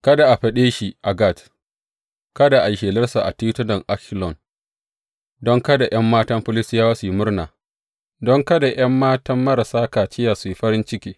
Kada a faɗe shi a Gat, kada a yi shelarsa a titunan Ashkelon, don kada ’yan matan Filistiyawa su yi murna don kada ’yan matan marasa kaciya su yi farin ciki.